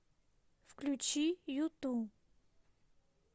включи юту